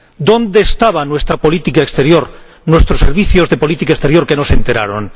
¿Dónde estaba nuestra política exterior, nuestros servicios de política exterior, que no se enteraron?